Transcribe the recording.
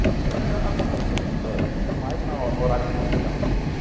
Porque acontece muito muito mais no horário comercial as coisas.